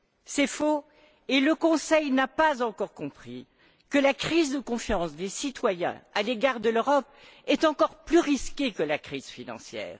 C'est faux et le Conseil n'a pas encore compris que la crise de confiance des citoyens à l'égard de l'Europe était encore plus risquée que la crise financière.